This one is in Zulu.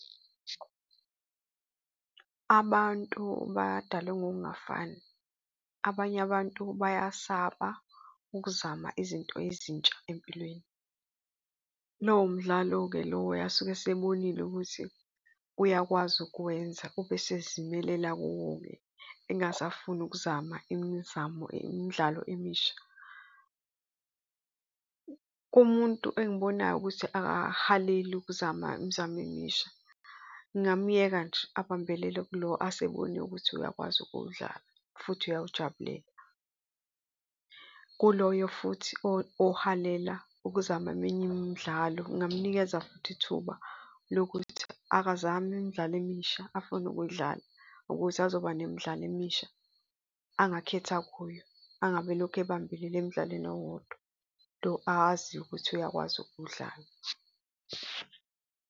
Abantu badalwe ngokungafani. Abanye abantu bayasaba ukuzama izinto ezintsha empilweni. Lowo mdlalo-ke lowo asuke asebonile ukuthi uyakwazi ukwenza ube esezimelela kuwo-ke engasafuni ukuzama imizamo imidlalo emisha. Kumuntu engibonayo ukuthi akahaleli ukuzama imizamo emisha, ngingamyeka nje abambelele kulo asebonile ukuthi uyakwazi ukuwudlala futhi uyawujabulela. Kuloyo futhi ohalela ukuzama eminye imidlalo, ngingamnikeza futhi ithuba lokuthi akazame imidlalo emisha afuna ukuyidlala, ukuthi azoba nemidlalo emisha angakhetha kuyo, angabe elokhu ebambelele emdlalweni owodwa, lo aziyo ukuthi uyakwazi ukuwudlala.